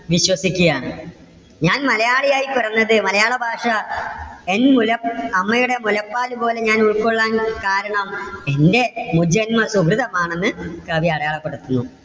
വിശ്വസിക്കുകയാണ്. ഞാൻ മലയാളി ആയി പിറന്നത് മലയാള ഭാഷ എൻ മുല അമ്മയുടെ മുലപ്പാല് പോലെ ഞാൻ ഉൾകൊള്ളാൻ കാരണം എന്റെ മുജന്മ സുകൃതം ആണെന്ന് കവി അടയാളപെടുത്തുന്നു.